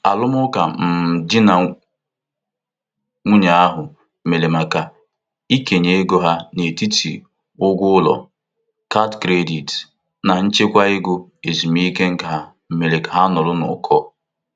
Arụmụka um di na nwunye ahụ mere maka ikenye ego ha n'etiti ụgwọ ụlọ, kaadị kredit, na nchekwa ego ezumike nka mere ka ha nọrọ n'ụkọ.